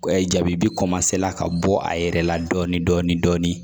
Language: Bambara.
jabi bi ka bɔ a yɛrɛ la dɔɔni